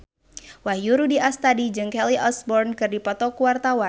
Wahyu Rudi Astadi jeung Kelly Osbourne keur dipoto ku wartawan